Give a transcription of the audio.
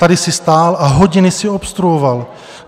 Tady jsi stál a hodiny jsi obstruoval.